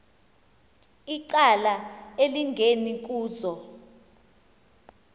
icala elingeni kuzo